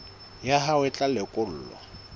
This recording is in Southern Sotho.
ya hao e tla lekolwa